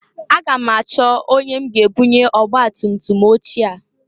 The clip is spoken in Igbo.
Aga m achọ onye m ga ebunye ọgbatutum ochie a.